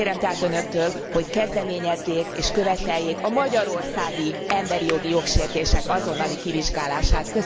Azt kérem tehát Önöktől, hogy kezdeményezzék és követeljék a magyarországi emberi jogi jogsértések azonnali kivizsgálását.